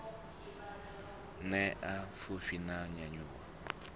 ṋea vhuḓipfi na u nyanyuwa